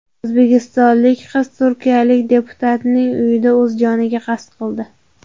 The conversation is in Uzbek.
O‘zbekistonlik qiz turkiyalik deputatning uyida o‘z joniga qasd qildi.